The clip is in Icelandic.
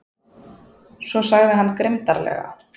Svo sagði hann grimmdarlega